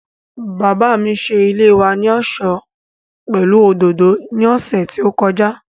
Bàbá mi ṣe ilé wa ní ọ̀ṣọ́ pẹ̀lú òdòdó ní ọ̀sẹ̀ tí ó kọjá